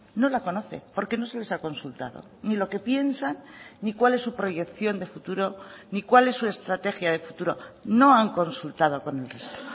no la conoce porque no se les ha consultado ni lo que piensan ni cuál es su proyección de futuro ni cuál es su estrategia de futuro no han consultado con el resto